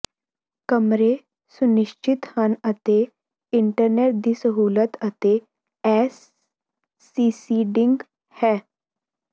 ਕਮਰੇ ਸੁਨਿਸ਼ਚਿਤ ਹਨ ਅਤੇ ਇੰਟਰਨੈਟ ਦੀ ਸਹੂਲਤ ਅਤੇ ਏਇਰਸੀਸੀਡਿੰਗ ਹੈ